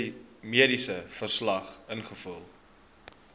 mediese verslag invul